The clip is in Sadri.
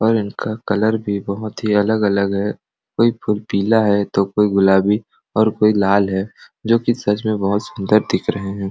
और इनका कलर भी बहुत ही अलग अलग है कोई तो पीला है तो कोई गुलाबी और कोई लाल है जो की सच में बहुत सूंदर दिख रहा है।